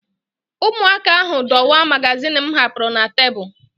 Ụmụaka ahụ dọwaa magazin m hapụrụ na tebụl